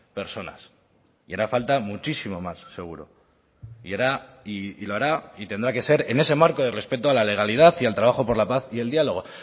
personas y hará falta muchísimo más seguro y tendrá que ser en ese marco de respeto a la legalidad y al trabajo por la paz y el diálogo